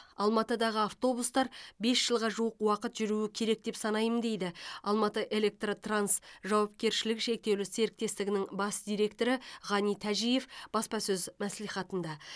алматыдағы автобустар бес жылға жуық уақыт жүруі керек деп санаймын дейді алматыэлектротранс жауапкершілігі шектеулі серіктестігінің бас директоры ғани тәжиев баспасөз мәслихатында